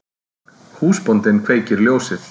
Húsbóndinn kveikir ljósið.